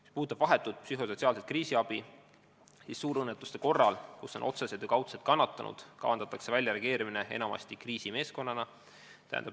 Mis puudutab vahetut psühhosotsiaalset kriisiabi, siis suurõnnetuste korral, kus on tegu otseste ja kaudsete kannatanutega, on kavas enamasti reageerida kriisimeeskonnana.